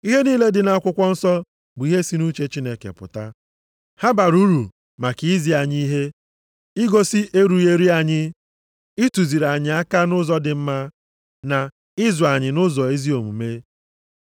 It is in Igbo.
Ihe niile dị nʼakwụkwọ nsọ bụ ihe si nʼuche Chineke pụta. Ha bara uru maka izi anyị ihe, igosi erughị eru anyị, ịtụziri anyị aka nʼụzọ dị mma, na ịzụ anyị nʼụzọ ezi omume: